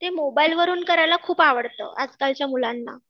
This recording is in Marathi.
ते मोबाईलवरून करायला खूप आवडतं आजकालच्या मुलांना.